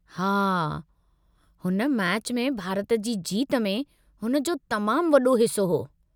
हा, हुन मैचि में भारत जी जीत में हुन जो तमामु वॾो हिस्सो हो।